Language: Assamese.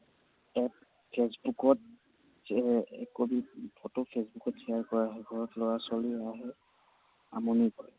ইয়াত ফেচবুকত একপি ফটো ফেচবুকত share কৰা হয়। ঘৰত লৰা ছোৱালী হয়, আমনি কৰে।